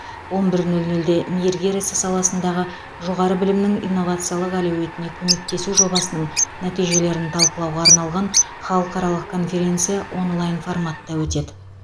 он бір нөл нөлде мейіргер ісі саласындағы жоғары білімнің инновациялық әлеуетіне көмектесу жобасының нәтижелерін талқылауға арналған халықаралық конференция онлайн форматта өтеді